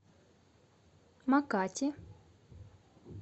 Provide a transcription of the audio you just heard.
макати